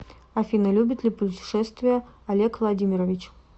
афина любит ли пушетествия олег владимирович